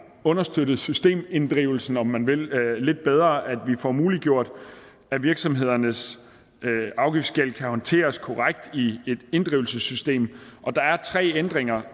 understøttet systeminddrivelsen om man vil lidt bedre at vi får muliggjort at virksomhedernes afgiftsgæld kan håndteres korrekt i et inddrivelsessystem der er tre ændringer